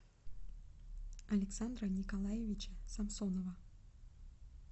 александра николаевича самсонова